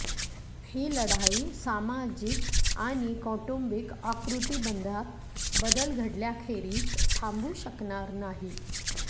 ही लढाई सामाजिक आणि कौटुंबिक आकृतिबंधात बदल घडल्याखेरीज थांबू शकणार नाही